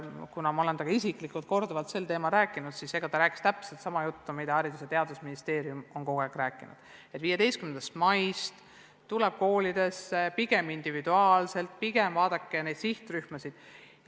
Kuna ma olen temaga isiklikult korduvalt sel teemal rääkinud, siis võin öelda, et ta rääkis täpselt sama juttu, mida Haridus- ja Teadusministeerium on kogu aeg rääkinud: 15. maist algab koolides pigem individuaalne õpe ja tuleb vaadata sihtrühmasid.